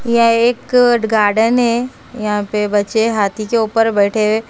यह एक गार्डन है यहाँ पे बच्चे हाथी के ऊपर बैठे हुए हैं।